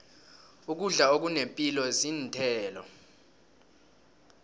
ukudla okunepilo zinthelo